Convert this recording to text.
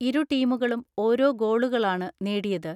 ഇരു ടീമുകളും ഓരോ ഗോളുകളാണ് നേടിയത്.